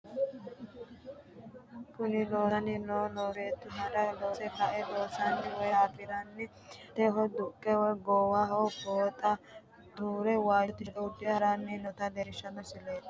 kuni loosoho loou kunino beettu handa loose ka"e loonsanniha woye qotto afirinoha qoteho duhe goowaho fooxa xaaxire waajjo tisheerte uddire haranni noota leellishshanno misileeti